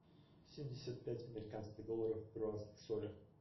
семьдесят пять американских долларов в перуанских солях